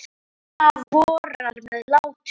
Nú vorar með látum.